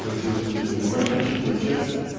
на сегодняшний день занимает значительную часть